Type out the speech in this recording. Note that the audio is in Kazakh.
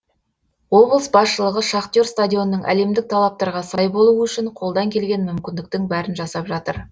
облыс басшылығы шахтер стадионының әлемдік талаптарға сай болуы үшін қолдан келген мүмкіндіктің бәрін жасап жатыр